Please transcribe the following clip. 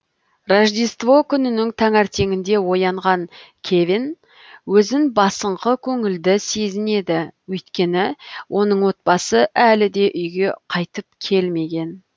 рождество күнінің таңертеңінде оянған кевин өзін басыңқы көңілді сезінеді өйткені оның отбасы әліде үйге қайтып келмеген